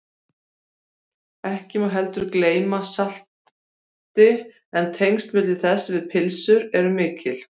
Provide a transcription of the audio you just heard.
ekki má heldur gleyma salti en tengsl þess við pylsur eru mikil